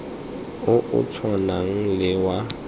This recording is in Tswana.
o o tshwanang le wa